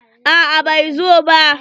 A'a bai zo ba.